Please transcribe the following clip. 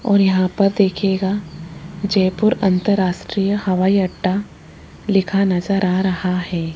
और यहां पर देखिएगा जयपुर अंतरराष्ट्रीय हवाई अड्डा लिखा नज़र आ रहा है।